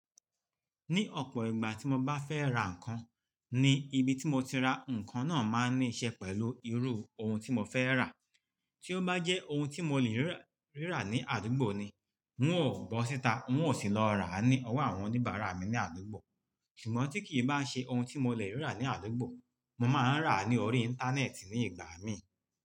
Ní ọ̀pọ̀ ìgbà tí mo bá fẹ́ ra ǹkan, ní ibi tí mọ ti ra nǹkan náà máa níí ṣe pẹ̀lú irú ohun tí mọ fẹ́ rà. Tí ó bá jẹ́ ohun tí mo lè rí rà ní àdúgbò ni, n ò bọ́ síta, n ó sì lọ rà á ní ọwọ́ àwọn oníbàárà mi ní àdúgbò. Ṣùgbọ́n tí kìí bá ń ṣe ohun tí mo lè rí rà ní àdúgbò, mo máa ń rà ní orí Íńtánẹ́ẹ̀tì ní ìgbà mí.